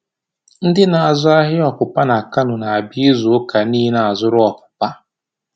Ndị na-azụ ahịa ọpụpa na Kano na-abịa izu ụka niile a zụrụ ọpụpa.